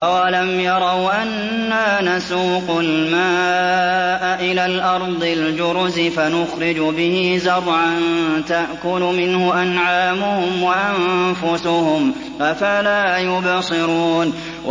أَوَلَمْ يَرَوْا أَنَّا نَسُوقُ الْمَاءَ إِلَى الْأَرْضِ الْجُرُزِ فَنُخْرِجُ بِهِ زَرْعًا تَأْكُلُ مِنْهُ أَنْعَامُهُمْ وَأَنفُسُهُمْ ۖ أَفَلَا يُبْصِرُونَ